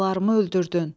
Balalarımı öldürdün.